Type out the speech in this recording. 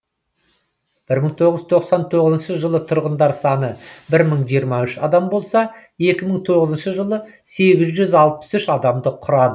бір мың тоғыз жүз тоқсан тоғызыншы жылы тұрғындар саны бір мың жиырма үш адам болса екі мың тоғызыншы жылы сегіз жүз алпыс үш адамды құрады